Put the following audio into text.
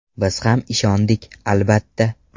Biz ham ishondik, albatta.